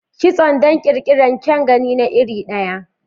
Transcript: Kitso don ƙirƙirar kyan gani na iri ɗaya.